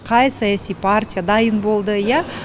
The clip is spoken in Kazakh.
қай саяси партия дайын болды иә